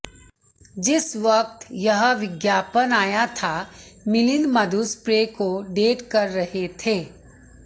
जिस वक्त यह विज्ञापन आया था मिलिंद मधु सप्रे को डेट कर रहे थे